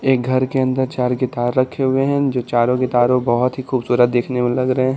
एक घर के अंदर चार गिटार रखे हुए हैं जो चारों गिटार हैं वो बहुत ही खूबसूरत दिखने में लग रहे हैं।